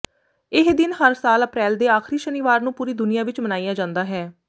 ਇਹ ਦਿਨ ਹਰ ਸਾਲ ਅਪ੍ਰੈਲ ਦੇ ਆਖਰੀ ਸ਼ਨੀਵਾਰ ਨੂੰ ਪੂਰੀ ਦੁਨੀਆਂ ਵਿਚ ਮਨਾਇਆ ਜਾਂਦਾ ਹੈ